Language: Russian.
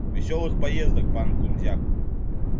весёлых поездок пан кунзяк